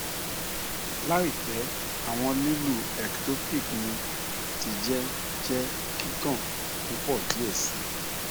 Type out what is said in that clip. laipẹ awọn lilu ectopic mi ti jẹ jẹ kikan pupọ diẹ sii